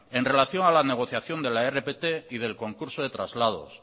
en relación a la negociación de la rpt y del concurso de traslados